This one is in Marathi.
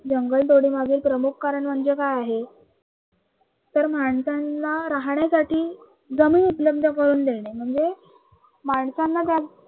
जंगल तोडी मध्ये प्रमुख कारण म्हणजे काय आहे? तर माणसांना राहण्यासाठी जमीन उपलब्ध करून देणे म्हणजे माणसांना त्या